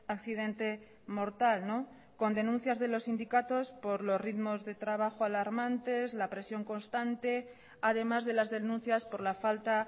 accidente mortal con denuncias de los sindicatos por los ritmos de trabajo alarmantes la presión constante además de las denuncias por la falta